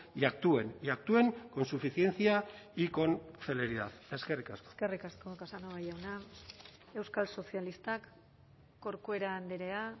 y actúen y actúen con suficiencia y con celeridad eskerrik asko eskerrik asko casanova jauna euskal sozialistak corcuera andrea